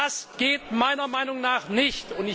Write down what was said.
Das geht meiner Meinung nach nicht!